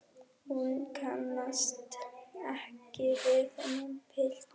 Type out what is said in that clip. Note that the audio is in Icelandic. Hún kannast ekki við þennan pilt.